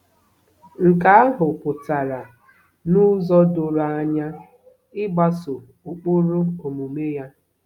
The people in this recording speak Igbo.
Nke ahụ pụtara n'ụzọ doro anya ịgbaso ụkpụrụ omume ya.